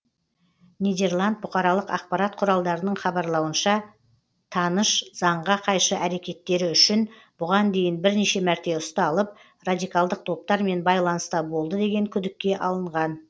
нидерланд бұқаралық ақпарат құралдарының хабарлауынша таныш заңға қайшы әрекеттері үшін бұған дейін бірнеше мәрте ұсталып радикалдық топтармен байланыста болды деген күдікке алынған